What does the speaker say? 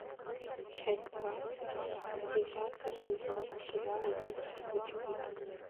часть двадцать девятый сезон сериал убить или быть убитым